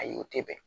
Ayi o tɛ bɛn